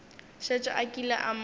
šetše a kile a mo